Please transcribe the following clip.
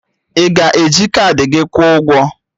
Ị ga-eji kaadị gị kwuo ụgwọ?